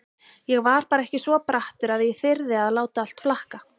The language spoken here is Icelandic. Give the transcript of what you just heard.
Ég var bara ekki svo brattur að ég þyrði að láta allt flakka.